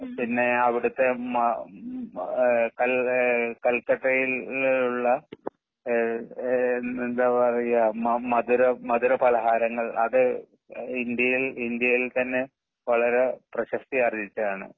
പിന്നെ അവിടുത്തെ മ മ കൽ കൽക്കട്ടയിലുള്ള ഏ എന്താ പറയുക മധുര മധുര പലഹാരങ്ങൾ അത് ഇന്ത്യയിൽ ഇന്ത്യയിൽ തന്നെ. വളരെ പ്രശസ്തി ആർജിച്ചതാണ്.